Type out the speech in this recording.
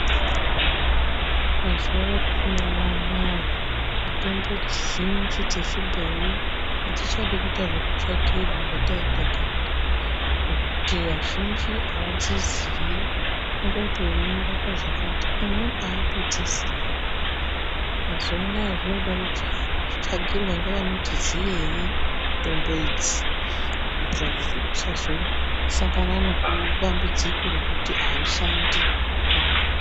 Mazuwa atinawo anaya, mitombo dzizhinji dzechibhoyi hadzichadi kuite zvekutsvakirwa zvataiita kare ngekuti antu azhinji haadziziyi. Kungoti uyu unoraoa chakati umweni haatodziziyi. Mazuwa anaya zvinoda kutsvakirwa ngeanoti ziyei mitombo idzi, kuitira kuti tisazosangana neku..nedambudziko rekuti haishandi kana kuto..